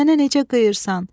Mənə necə qıyırsan?